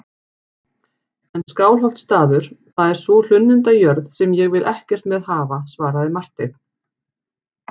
En Skálholtsstaður, það er sú hlunnindajörð sem ég vil ekkert með hafa, svaraði Marteinn.